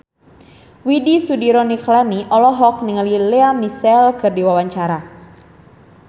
Widy Soediro Nichlany olohok ningali Lea Michele keur diwawancara